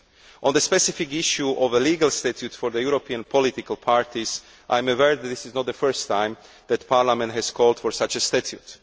On the specific issue of a legal statute for European political parties, I am aware that this is not the first time that Parliament has called for such a statute.